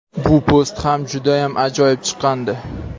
Bu post ham judayam ajoyib chiqqandi.